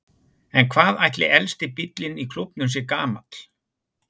En hvað ætli elsti bíllinn í klúbbnum sé gamall?